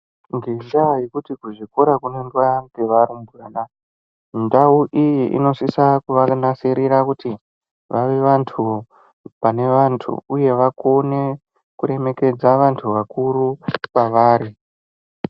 Ngenda yekuti ku zvikora kuno endwa nge varumbwana ndau iyi inosisa kuva nasirira kuti vave vantu vane vantu uye vakone kuremekedza vantu vakuru kwavari.